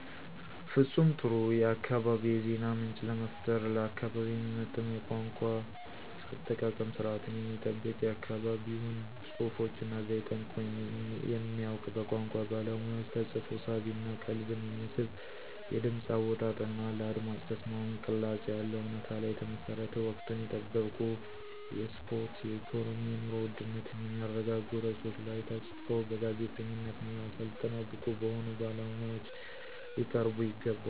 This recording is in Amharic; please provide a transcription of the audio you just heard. ፍፁም ጥሩ የአካባቢ የዜና ምንጭ ለመፍጠር። ለአካባቢው የሚመጥን የቋንቋ አጠቃቀም ስርዓትን የሚጠብቅ የአካባቢውን ፅሁፎች እና ዘየ ጠንቅቆ የሚያውቅ በቋንቋ ባለሙያዎች ተፅፎ ሳቢ እና ቀልብን የሚስብ የድምፅ አወጣጥ እና ለአድማጭ ተስማሚ ቅላፄ ያለው፣ እውነታ ላይ የተመሠረተ፣ ወቅቱን የጠበቁ የስፖርት፣ የኢኮኖሚ፣ የኑሮ ውድነትን የሚያረጋጉ ርዕሶች ላይ ተፅፈው በጋዜጠኝነት ሙያ ሠልጥነው ብቁ በሆኑ ባለሙያዎች ሊቀርቡ ይገባል።